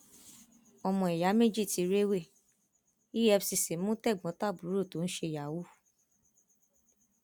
ọmọ ìyá méjì tí rèwé efcc mú tègbọntàbúrò tó ń ṣe yahoo